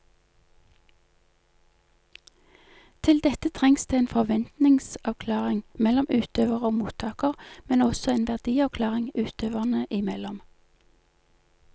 Til dette trengs det en forventningsavklaring mellom utøver og mottaker, men også en verdiavklaring utøverne imellom.